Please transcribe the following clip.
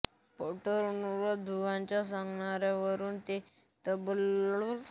पटवर्धनबुवांच्या सांगण्यावरून ते तबला हार्मोनियम व इतर वाद्येही शिकले